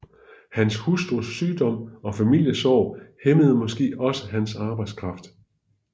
Hans hustrus sygdom og familiesorg hæmmede måske også hans arbejdskraft